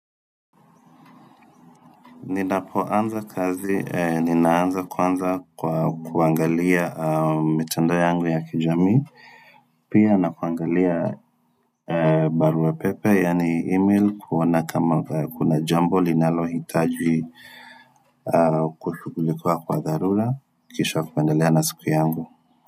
Ninapoanza kazi, ninaanza kwanza kwa kuangalia mitandao yangu ya kijamii, pia na kuangalia barua pepe, yaani email, kuona kama kuna jambo linalohitaji kushugulikua kwa dharura, kisha kuendelea na siku yangu.